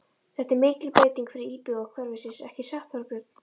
Þetta er mikil breyting fyrir íbúa hverfisins, ekki satt, Þorbjörn?